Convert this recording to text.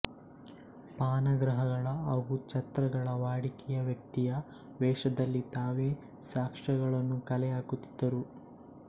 ಪಾನಗೃಹಗಳ ಹಾಗೂ ಛತ್ರಗಳ ವಾಡಿಕೆಯ ವ್ಯಕ್ತಿಯ ವೇಷದಲ್ಲಿ ತಾವೇ ಸಾಕ್ಷ್ಯಗಳನ್ನು ಕಲೆ ಹಾಕುತ್ತಿದ್ದರು